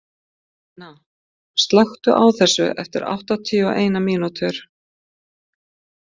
Benna, slökktu á þessu eftir áttatíu og eina mínútur.